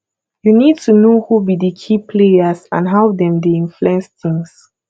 you need to know who be di key players and how dem dey influence tings